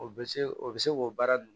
O bɛ se o bɛ se k'o baara nunnu